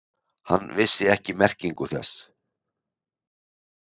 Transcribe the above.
Hann vissi ekki merkingu þess.